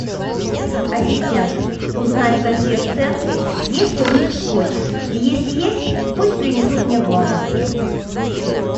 ассистент узнай в консьерж центре есть ли у них скотч и если есть пусть принесут мне в номер